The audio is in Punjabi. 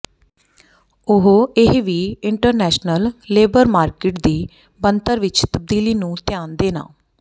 ਉਹ ਇਹ ਵੀ ਇੰਟਰਨੈਸ਼ਨਲ ਲੇਬਰ ਮਾਰਕੀਟ ਦੀ ਬਣਤਰ ਵਿੱਚ ਤਬਦੀਲੀ ਨੂੰ ਧਿਆਨ ਦੇਣਾ